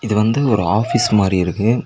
இது வந்து ஒரு ஆஃபீஸ் மாரி இருக்கு.